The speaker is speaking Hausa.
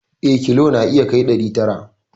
Eh, kilo na iya kai ɗari tara